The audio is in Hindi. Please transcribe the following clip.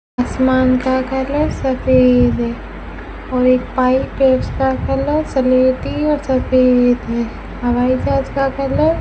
आसमान का कलर सफेद है और एक पाइप है उसका कलर सलेटी और सफेद है हवाईजहाज का कलर --